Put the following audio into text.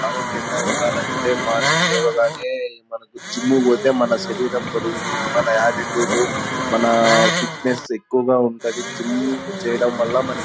ఆరోగ్యంగా ఉండాలంటే మార్నింగ్ లేవగానే మనకు జిమ్ కి పోతే మన శరీరం బరువు మన ఆటిట్యూడ్ మన ఫిట్నెస్ ఎక్కువగా ఉంటాది. జిమ్ చేయడం వల్ల మనక్--